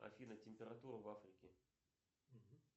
афина температура в африке